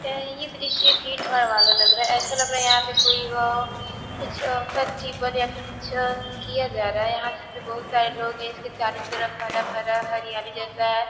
ए ये दृश्य भीड़-भाड़ वाला लग रहा है ऐसा लग रहा है यहां पे कोई अ कुछ फेस्टिवल या फिर कुछ किया जा रहा है यहां से बहुत सारे लोग इसके चारो तरफ हरा-भरा हरियाली जैसा है।